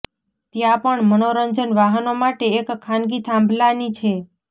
ત્યાં પણ મનોરંજન વાહનો માટે એક ખાનગી થાંભલાની છે